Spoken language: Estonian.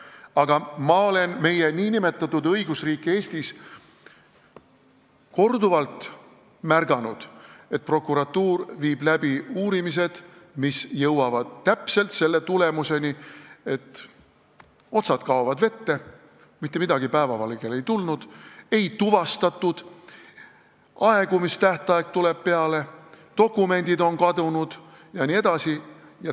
Aga ma olen meie nn õigusriigis korduvalt märganud, et prokuratuur viib läbi uurimised, mis jõuavad selle tulemuseni, et otsad kaovad vette: mitte midagi päevavalgele ei tule, midagi ei tuvastata, aegumistähtaeg tuleb peale, dokumendid on kadunud jne.